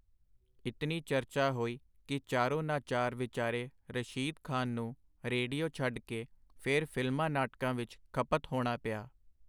ਇਤਨੀ ਚਰਚਾ ਹੋਈ ਕਿ ਚਾਰੋਨਾਚਾਰ ਵਿਚਾਰੇ ਰਸ਼ੀਦ ਖਾਨ ਨੂੰ ਰੇਡੀਓ ਛੱਡ ਕੇ ਫੇਰ ਫਿਲਮਾਂ-ਨਾਟਕਾਂ ਵਿਚ ਖਪਤ ਹੋਣਾ ਪਿਆ.